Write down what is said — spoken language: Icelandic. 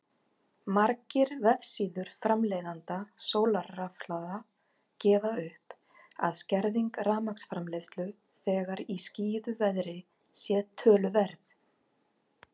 Margir vefsíður framleiðenda sólarrafhlaða gefa upp að skerðing rafmagnsframleiðslu þegar í skýjuðu veðri sé töluverð.